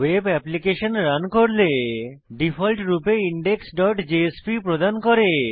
web application run করলে default রূপে indexজেএসপি প্রদান করে